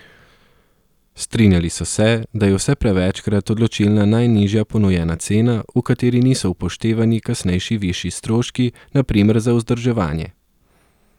Strinjali so se, da je vse prevečkrat odločilna najnižja ponujena cena, v kateri niso upoštevani kasnejši višji stroški, na primer za vzdrževanje.